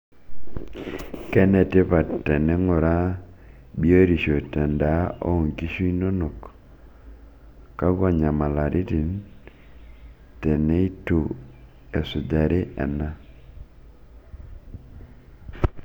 Kene tipat tininguraa biotisho te endaa oo nkishu inonok? Kakua nyamalaratin teneitu esujari ena?